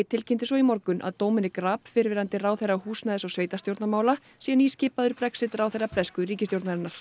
tilkynnti svo í morgun að Dominic Raab fyrrverandi ráðherra húsnæðis og sveitarstjórnarmála sé nýskipaður Brexit ráðherra bresku ríkisstjórnarinnar